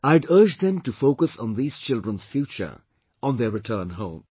I had urged them to focus on these children's future, on their return home